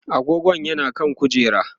agogon yana kan kujera